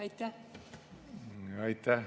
Aitäh!